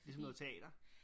Ligesom noget teater